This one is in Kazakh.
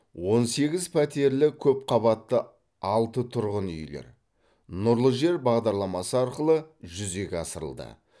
он сегіз пәтерлі көпқабатты алты тұрғын үйлер нұрлы жер бағдарламасы арқылы жүзеге асырылды